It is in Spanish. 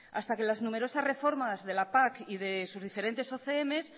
hasta que las numerosas reformas de la pac y de sus diferentes ocms